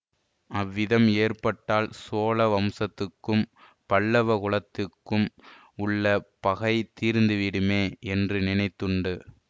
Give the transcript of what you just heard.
அவ்விதம் ஏற்பட்டால் சோழ வம்சத்துக்கும் பல்லவ குலத்துக்கும் உள்ள பகை தீர்ந்துவிடுமே என்று நினைத்துண்டு